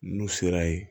N'u sera yen